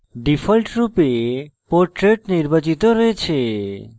ডিফল্টরূপে portrait নির্বাচিত রয়েছে